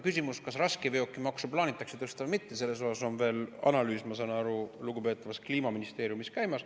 Küsimus, kas raskeveokimaksu plaanitakse tõsta või mitte – selle kohta on analüüs, ma saan aru, lugupeetavas kliimaministeeriumis veel käimas.